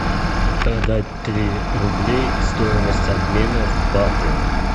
продать три рублей стоимость обмена в баты